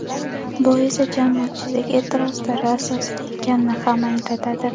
Bu esa jamoatchilik e’tirozlari asosli ekanini ham anglatadi.